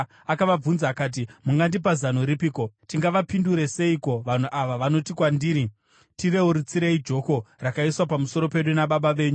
Akavabvunza akati, “Mungandipa zano ripiko? Tingavapindure seiko vanhu ava vanoti kwandiri, ‘Tirerutsirei joko rakaiswa pamusoro pedu nababa venyu?’ ”